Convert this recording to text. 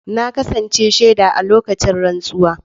Na kasance shaida a lokacin rantsuwa.